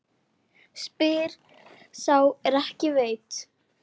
Spyr sá er ekki veit?